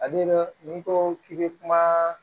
Ale n'i ko k'i bɛ kuma